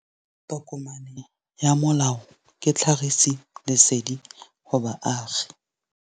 Tokomane ya molao ke tlhagisi lesedi go baagi.